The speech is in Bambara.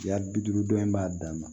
Cɛya bi duuru dɔɔnin b'a dan na